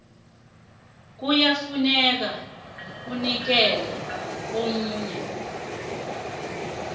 kuyafuneka inikelwe umuntu